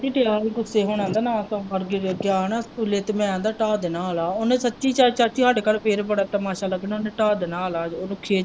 ਖਿਜ ਹੀ ਪਿਆ ਗੁੱਸੇ ਹੋਣਾ ਆਂਦਾ ਮੈਂ ਆਇਆ ਨਾ ਸਕੂਲੋਂ ਤੇ ਮੈਂ ਆਂਦਾ ਡਾਹ ਦੇਣਾ ਆਲਾ ਇਹਨੇ ਸੱਚੀ ਚਾਚੀ ਸਾਡੇ ਘਰ ਫਿਰ ਬੜਾ ਤਮਾਸਾ ਲੱਗਣਾ ਇਹਨੇ ਡਾਹ ਦੇਣਾ ਆਲਾ।